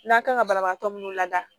N'a kan ka banabagatɔ minnu lada